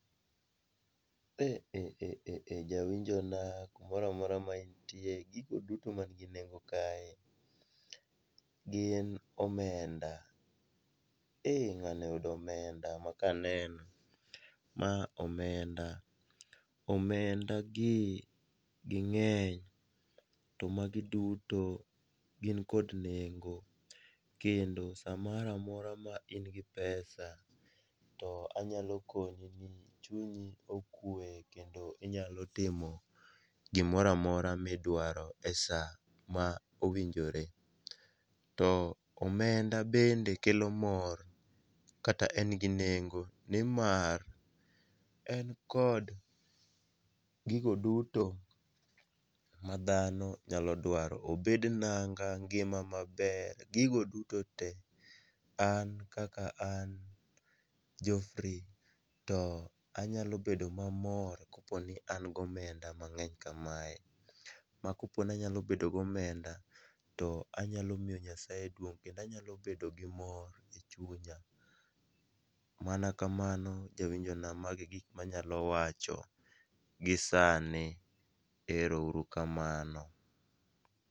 Eeeeh, jawinjona kumora mora ma intie, gigo duto manigi nengo kae gin omenda eeh ng'ani oyudo omenda ma kaneno, ma omenda. omendagi ging'eny to magi duto gin kod nengo kendo sa mora mora ma in gi pesa to anyalo koni chunyi okwe kendo inyalo timo gimora mora midwaro e sa mowinjore. To omenda bende kelo mor kata en gi nengo nimar en kod gigo duto ma dhano nyalo dwaro, obed nanga, ngima maber, gigo dutote, an kaka an Geoffrey to anyalo bedo mamor koponi an gomenda mang'eny kamae, ma koponi anyalo bedo gomenda to anyalo miyo Nyasaye duong' kendo anyalo bedo gi mor e chunya. Mana kamano, jawinjona magi gik manyalo wacho gi sani. Ero uru kamano.